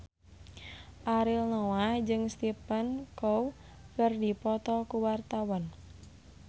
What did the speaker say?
Ariel Noah jeung Stephen Chow keur dipoto ku wartawan